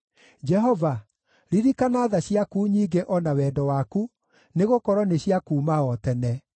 Jehova, ririkana tha ciaku nyingĩ o na wendo waku, nĩgũkorwo nĩ cia kuuma o tene.